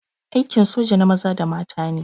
Aikin soja na maza da mata ne.